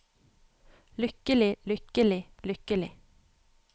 lykkelig lykkelig lykkelig